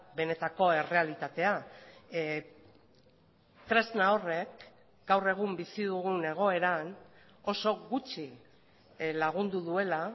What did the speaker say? benetako errealitatea tresna horrek gaur egun bizi dugun egoeran oso gutxi lagundu duela